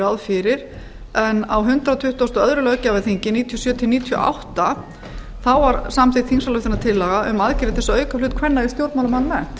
ráð fyrir en á hundrað tuttugasta og öðrum löggjafarþingi nítján hundruð níutíu og sjö til nítján hundruð níutíu og átta var samþykkt þingsályktunartillaga um aðgerðir til að auka hlut kvenna í stjórnmálum almennt